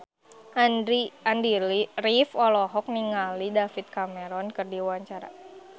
Andy rif olohok ningali David Cameron keur diwawancara